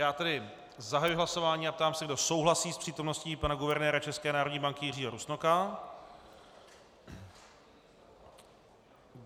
Já tedy zahajuji hlasování a ptám se, kdo souhlasí s přítomností pana guvernéra České národní banky Jiřího Rusnoka.